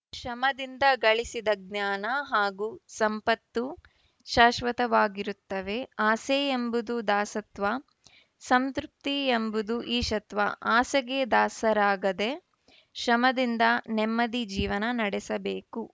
ಶ್ರಮದಿಂದ ಗಳಿಸಿದ ಜ್ಞಾನ ಹಾಗೂ ಸಂಪತ್ತು ಶಾಶ್ವತವಾಗಿರುತ್ತವೆ ಆಸೆ ಎಂಬುದು ದಾಸತ್ವ ಸಂತೃಪ್ತಿ ಎಂಬುದು ಈಶತ್ವ ಆಸೆಗೆ ದಾಸರಾಗದೆ ಶ್ರಮದಿಂದ ನೆಮ್ಮದಿ ಜೀವನ ನಡೆಸಬೇಕು